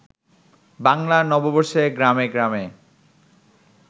বাংলা নববর্ষে গ্রামে গ্রামে